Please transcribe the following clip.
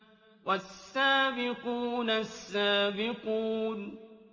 وَالسَّابِقُونَ السَّابِقُونَ